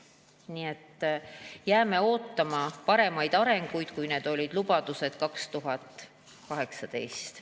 Nii et jääme ootama paremaid arenguid, kui olid lubadused 2018.